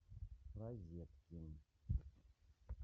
розеткин